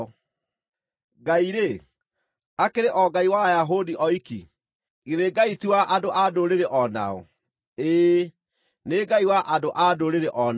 Ngai-rĩ, akĩrĩ o Ngai wa Ayahudi oiki? Githĩ Ngai ti wa andũ-a-Ndũrĩrĩ o nao? Ĩĩ, nĩ Ngai wa andũ-a-Ndũrĩrĩ o nao,